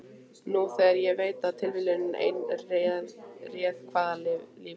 Nú þegar ég veit að tilviljun ein réð hvaða lífi